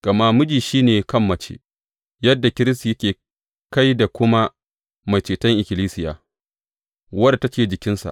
Gama miji shi ne kan mace, yadda Kiristi yake kai da kuma Mai Ceton ikkilisiya, wadda take jikinsa.